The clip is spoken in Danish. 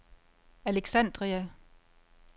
Alexandria